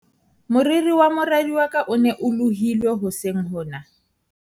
moriri wa moradi wa ka o ne o lohilwe hoseng hona